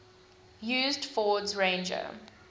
used ford's ranger